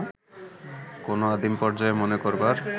কোনো আদিম পর্যায় মনে করবার